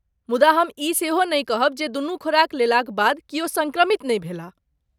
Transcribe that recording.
मुदा हम ई सेहो नहि कहब जे दुनू खुराक लेलाक बाद किओ सङ्क्रमित नहि भेलाह।